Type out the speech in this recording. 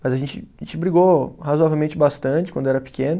Mas a gente, a gente brigou razoavelmente bastante quando era pequeno.